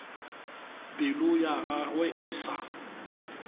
pelo ya gagwe e sa